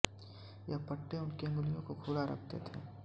ये पट्टे उनकी अंगुलियों को खुला रखते थे